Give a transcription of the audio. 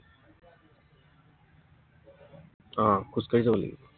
আহ খোজকাঢ়ি যাব লাগিব।